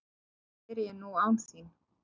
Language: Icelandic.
Hvað geri ég nú án þín?